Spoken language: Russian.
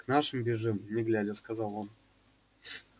к нашим бежим не глядя сказал он